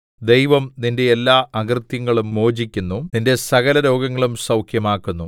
ദൈവം നിന്റെ എല്ലാ അകൃത്യങ്ങളും മോചിക്കുന്നു നിന്റെ സകലരോഗങ്ങളും സൗഖ്യമാക്കുന്നു